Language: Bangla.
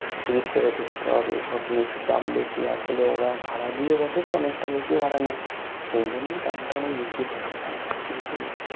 ticket কেটে ঢুকতে হবে সব জিনিস এর দাম বেশি আসলে ওরা ভাড়া দিয়ে বসে তো অনেকটা বেশিও ভাড়া নেয় সেইজন্যই দামতা অনেক বেশি পরে ওখানে সব কিছু জিনিস এর